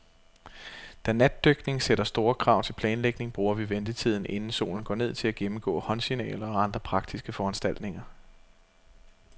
Da natdykning sætter store krav til planlægning, bruger vi ventetiden, inden solen går ned, til at gennemgå håndsignaler og andre praktiske foranstaltninger.